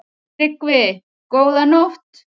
TRYGGVI: Góða nótt!